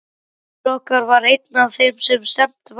Faðir okkar var einn af þeim sem stefnt var.